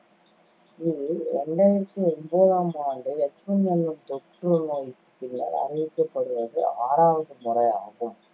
இது ரெண்டாயிரத்தி ஒன்பதாம் ஆண்டு H one N one தொற்றுநோய்க்குப் பின்னர் அறிவிக்கப்படுவது ஆறாவது முறையாகும்